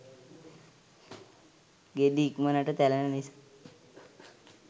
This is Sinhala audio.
ගෙඩි ඉක්මනට තැලෙන නිසා